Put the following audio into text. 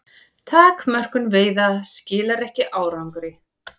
Takmörkun veiða skilar ekki árangri